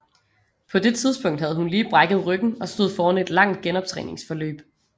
På det tidspunkt havde hun lige brækket ryggen og stod foran et langt genoptræningsforløb